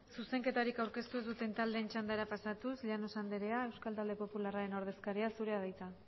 zuzenketarik aurkeztu ez duten taldeen txandara pasatuz llanos andrea euskal talde popularraren ordezkaria zurea da hitza